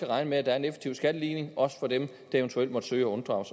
regne med at der er en effektiv skatteligning også for dem der eventuelt måtte søge at unddrage